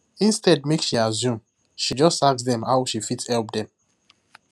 instead make she assume she just ask dem how she fit help them